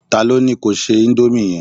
ta lo ni ko se Indomie yẹn